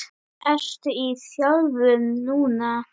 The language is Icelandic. Ertu í þjálfun núna?